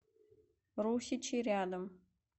русичи рядом